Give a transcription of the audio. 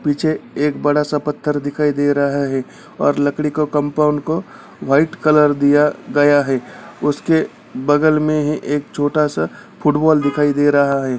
पीछे एक बड़ा सा पत्थर दिखाई दे रहा है और लकड़ी का कंपाउंड को वाइट कलर दिया गया है | उसके बगल में एक छोटा सा फुटबॉल दिखाई दे रहा है।